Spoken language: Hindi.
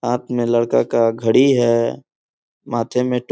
हाथ में लड़का का घडी है माथे में टो--